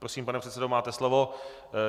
Prosím, pane předsedo máte slovo.